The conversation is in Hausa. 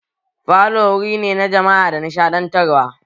Falo wuri ne na jama'a da nishadantarwa